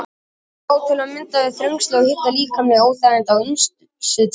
Þetta á til að mynda við um þrengsli, hita og líkamleg óþægindi af ýmsu tagi.